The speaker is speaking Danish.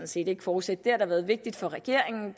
set ikke fortsætte det der har været vigtigt for regeringen